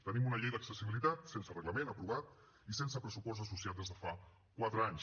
tenim una llei d’accessibilitat sense reglament aprovat i sense pressupost associat des de fa quatre anys